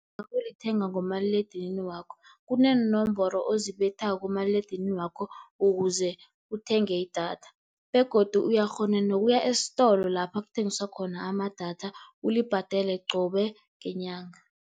Nawulithenga ngomaliledinini wakho kuneenomboro ozibethako kumaliledinini wakho ukuze uthenge idatha begodu uyakghona nokuya esitolo lapha kuthengiswa khona amadatha ulibhadele qobe ngenyanga.